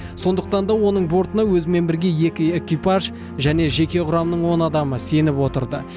сондықтан да оның бортына өзімен бірге екі экипаж және жеке құрамның он адамы сеніп отырды